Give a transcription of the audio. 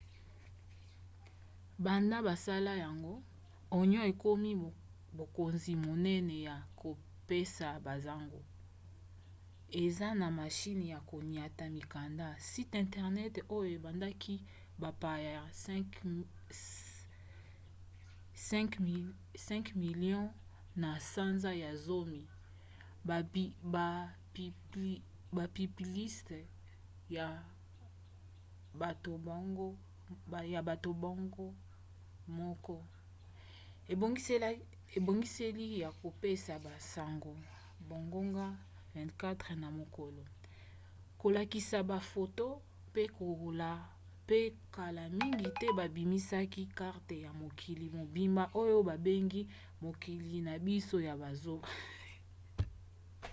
banda basala yango onion ekomi bokonzi monene ya kopesa basango eza na mashine ya koniata mikanda site internet oyo ebendaki bapaya 5 000 000 na sanza ya zomi bapiblisite ya bato bango moko ebongiseli ya kopesa basango bangonga 24 na mokolo kolakisa bafoto pe kala mingi babimisaki karte ya mokili mobimba oyo babengi mokili na biso ya bozoba